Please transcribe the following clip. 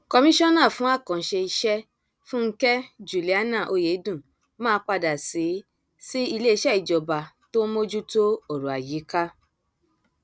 kọmíṣánà fún àkànṣe iṣẹ fúnkẹ juliana ọyẹdùn máa padà sí sí iléeṣẹ ìjọba tó ń mójútó ọrọ ayíká